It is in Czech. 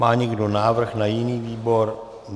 Má někdo návrh na jiný výbor?